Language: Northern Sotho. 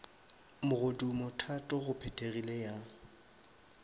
mogodumo thato go phethegile ya